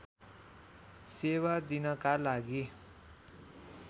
सेवा दिनका लागि